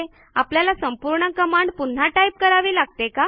आपल्याला संपूर्ण कमांड पुन्हा टाईप करावी लागते का